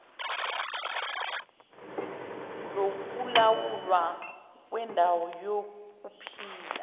lokulawulwa kwendawo yokuphila